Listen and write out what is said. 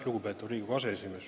Lugupeetud Riigikogu aseesimees!